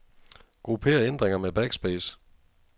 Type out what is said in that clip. Grupper ændringer med backspace.